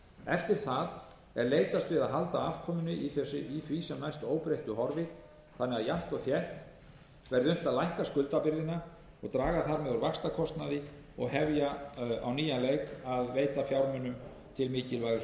eftir það er leitast við að halda afkomunni í því sem næst óbreyttu horfi þannig að jafnt og þétt verði unnt að lækka skuldabyrðina og draga þar með úr vaxtakostnaði og hefja á nýjan leik að veita fjármuni til mikilvægustu